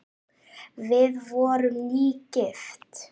Við vorum nýgift!